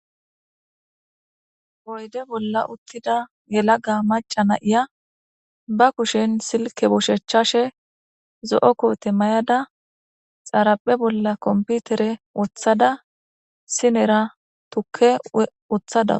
oyde bolla uttida yelaga maca na7iya ba kushen silke bushechashe zo7o koote may7ada xaaraphe bolla komputere wothada sinera tukke uththada